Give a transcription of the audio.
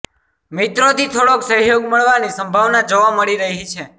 મિત્રોથી થોડોક સહયોગ મળવાની સંભાવના જોવા મળી રહી છે